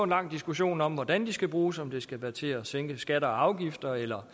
lang diskussion om hvordan de skal bruges om det skal være til at sænke skatter og afgifter eller